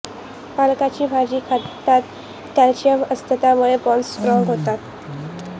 पालकाची भाजी खातं त्यात कॅल्शियम असतं त्यामुळे बोन्स स्ट्राँग होतात